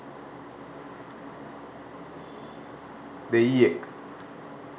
දෙයියෙක්!